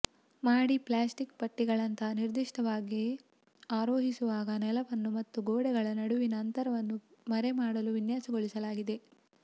ಮಹಡಿ ಪ್ಲಾಸ್ಟಿಕ್ ಪಟ್ಟಿಗಳಂತಹ ನಿರ್ದಿಷ್ಟವಾಗಿ ಆರೋಹಿಸುವಾಗ ನೆಲವನ್ನು ಮತ್ತು ಗೋಡೆಗಳ ನಡುವಿನ ಅಂತರವನ್ನು ಮರೆಮಾಡಲು ವಿನ್ಯಾಸಗೊಳಿಸಲಾಗಿದೆ